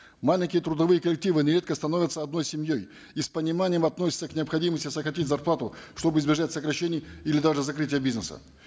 маленькие трудовые коллективы нередко становятся одной семьей и с пониманием относятся к необходимости сократить зарплату чтобы избежать сокращений или даже закрытия бизнеса